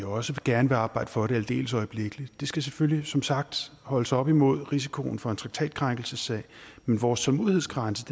også gerne arbejde for det aldeles øjeblikkeligt det skal selvfølgelig som sagt holdes op imod risikoen for en traktatkrænkelsessag men vores tålmodighedsgrænse